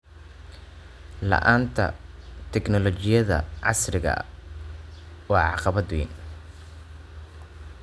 La'aanta tignoolajiyada casriga ah waa caqabad weyn.